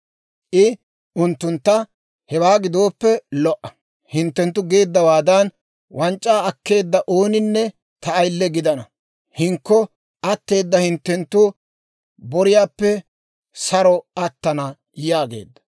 I unttuntta, «Hewaa gidooppe lo"a; hinttenttu geeddawaadan wanc'c'aa akkeedda ooninne ta ayile gidana; hinkko atteeda hinttenttu boriyaappe saro attana» yaageedda.